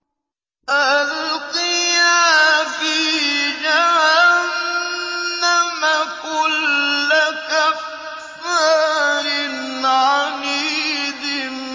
أَلْقِيَا فِي جَهَنَّمَ كُلَّ كَفَّارٍ عَنِيدٍ